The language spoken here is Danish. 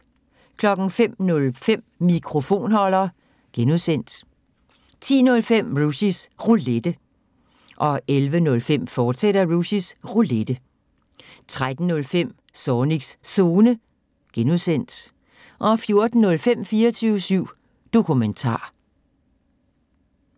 05:05: Mikrofonholder (G) 10:05: Rushys Roulette 11:05: Rushys Roulette, fortsat 13:05: Zornigs Zone (G) 14:05: 24syv Dokumentar